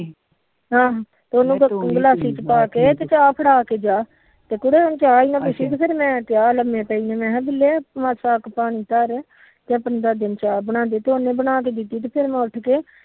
ਆਹ ਗਲਾਸੀ ਪਾ ਕੇ ਤੂ ਚਾ ਫੜਾ ਕੇ ਜਾ ਲੰਮੇ ਪਈ ਮਸਾ ਤੇ ਫਿਰ ਉਹਨੇ ਬਣਾ ਕੇ ਦਿੱਤੀ ਤੇ ਫਿਰ ਮੈ ਉਠ ਕੇ